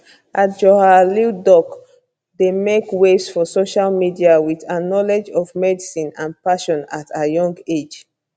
adjoa lildoc dey make waves for social media with her knowledge of medicine and passion at her young age